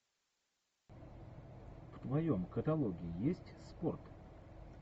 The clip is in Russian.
в твоем каталоге есть спорт